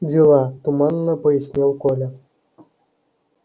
дела туманно пояснил коля